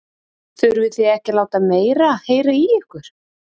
Þurfi þið ekki að láta meira heyra í ykkur?